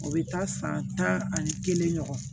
O bɛ taa san tan ani kelen ɲɔgɔn